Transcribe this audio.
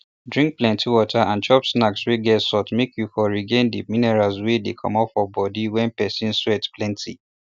drink plenty water and chop snacks wey get salt make you for regain the minerals wey dey comot for body wen person sweat plenty